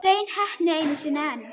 Hrein heppni einu sinni enn.